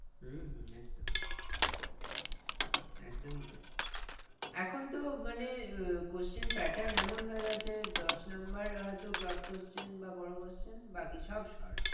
উম হম একদমই একদমই তাই এখন তো মানে আহ question pattern এমন হয়ে গেছে দশ number হয়তো broad question বা বড়ো question বাকি সব short